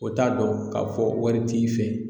O t'a dɔn ka fɔ wari t'i fɛ.